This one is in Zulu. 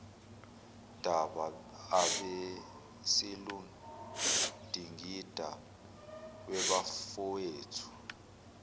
daba ebesiludingida webafowethu